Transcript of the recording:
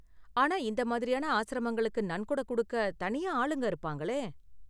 ஆனா இந்த மாதிரியான ஆஸ்ரமங்களுக்கு நன்கொடை கொடுக்க தனியா ஆளுங்க இருப்பாங்களே?